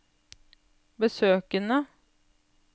besøkene